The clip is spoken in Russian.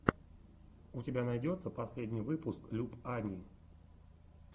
у тебя найдется последний выпуск люб ани